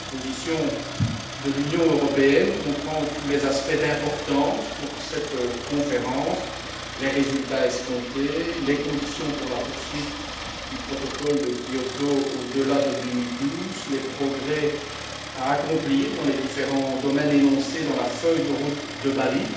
Cette position de l'Union européenne comprend tous les aspects d'importance pour cette conférence les résultats escomptés, les conditions pour la poursuite du protocole de Kyoto au delà de 2012, les progrès à accomplir dans les différents domaines énoncés dans la feuille de route de Bali